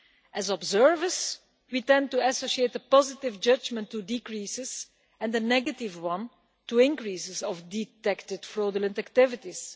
As observers we tend to associate the positive judgment to decreases and the negative one to increases of detected fraudulent activities.